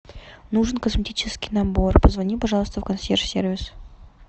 нужен косметический набор позвони пожалуйста в консьерж сервис